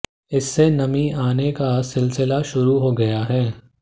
इससे नमी आने का सिलसिला शुरू हो गया है